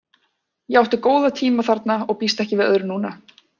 Ég átti góða tíma þarna og býst ekki við öðru núna.